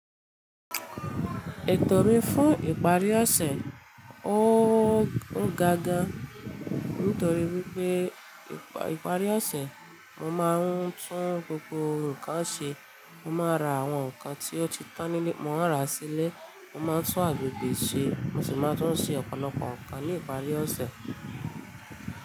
Ètò mí fún ìparí ọ̀sẹ̀, óga gan, nítorí wípé ìparí ọ̀sẹ̀ mo máa ń tún gbogbo ǹkan ṣe. Mo máa ra àwọn ǹkan tí ó ti tán nílé, mo máa ra sílé. Mo máa tún agbègbè ṣe, mo sì máa tún ṣe ọ̀pọ̀lọpọ̀ ǹkan ní ìparí ọ̀sẹ̀.